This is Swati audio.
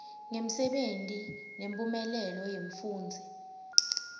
ngemsebenti nemphumelelo yemfundzi